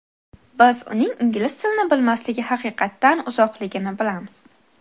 Biz uning ingliz tilini bilmasligi haqiqatdan uzoqligini bilamiz.